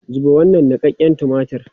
Zuba wannan niƙaƙƙen tumatir!